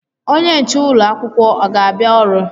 Onye nche ụlọ akwụkwọ ọ ga-abịa ọrụ?